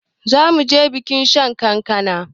Zamuje bikin shan kankana